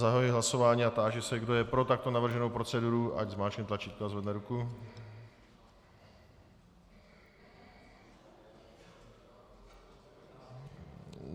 Zahajuji hlasování a táži se, kdo je pro takto navrženou proceduru, ať zmáčkne tlačítko a zvedne ruku.